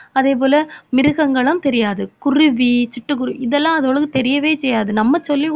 அதே போல மிருகங்களும் தெரியாது. குருவி சிட்டுக்குருவி இதெல்லாம் அதுவுகளுக்கு தெரியவே தெரியாது நம்ம சொல்லிக்குடு~